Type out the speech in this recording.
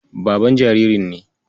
Baban jaririn ne.